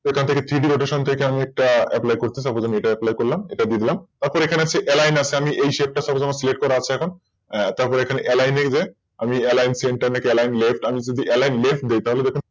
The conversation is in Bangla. সেখান থেকে Tick rotation থেকে আমি একটা Apply করতেছি Apply করলাম এটা দিয়ে দিলাম তারপর এখানে যে Aline আছে Select করা আছে এখন তারপর এখানে Alline যেয়ে আমি Aline frame থেকে Aline left নি তাহলে দেখুন কি হবে